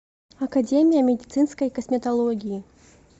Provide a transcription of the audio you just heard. академия медицинской косметологии